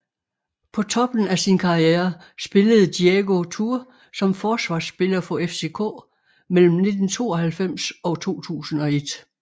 På toppen af sin karriere spillede Diego Tur som forsvarsspiller for FCK mellem 1992 og 2001